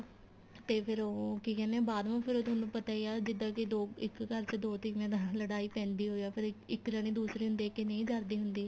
ਤੇ ਫੇਰ ਉਹ ਕੀ ਕਹਿਨੇ ਏ ਬਾਅਦ ਮਾ ਫੇਰ ਤੁਹਾਨੂੰ ਪਤਾ ਈ ਏ ਜਿੱਦਾਂ ਕੀ ਦੋ ਇੱਕ ਘਰ ਚ ਦੋ ਤੀਵੀਆਂ ਦਾ ਲੜਾਈ ਪੈਂਦੀ ਓ ਏ ਫੇਰ ਇੱਕ ਜਾਣੀ ਦੂਸਰੀ ਨੂੰ ਦੇਖ ਕੇ ਨਹੀਂ ਜਰਦੀ ਹੁੰਦੀ